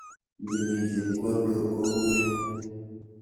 Iimi chepkondok kou nee?